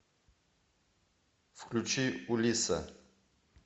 включи улисса